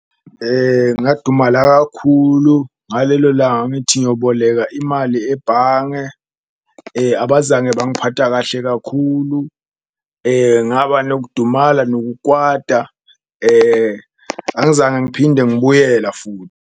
Ngadumala kakhulu ngalelo langa ngithi ngiyoboleka imali ebhange, abazange bangiphatha kahle kakhulu ngaba nokudumala nokwata, angizange ngiphinde ngibuyela .